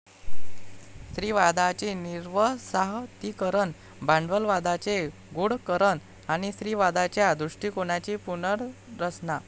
स्त्रीवादाची निर्वसाहतीकरण, 'भांडवलवादाचे गूढकरण ', आणि 'स्त्रीवादाच्या दृष्टीकोनाची पुनर्रचना '.